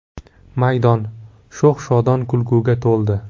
Maydon sho‘x-shodon kulguga to‘ldi.